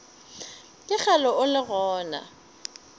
ke kgale o le gona